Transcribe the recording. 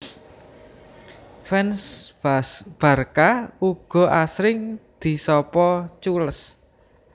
Fans Barca uga asring disapa culés